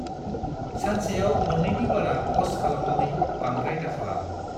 सानसेयाव मोननैनि बारा प'स्ट खालामनानै बांद्राय दाखालाम।